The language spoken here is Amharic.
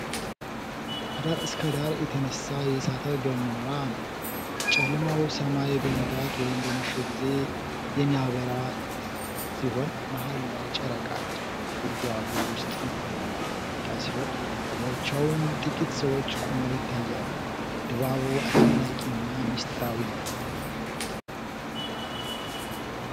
ከዳር እስከ ዳር የተነሳ የ እሳተ ገሞራ ነው። ጨለማው ሰማይ በንጋት/በመሸ ጊዜ የሚያበራ ሲሆን መሃል ላይ ጨረቃ አለች። ከጉድጓዱ ውስጥ እንፋሎት እየወጣ ሲሆን በዳርቻውም ጥቂት ሰዎች ቆመው ይታያሉ። ድባቡ አስደናቂና ምስጢራዊ ነው።